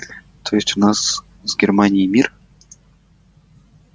то есть у нас с германией мир